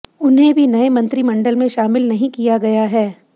उन्हें भी नये मंत्रिमंडल में शामिल नहीं किया गया है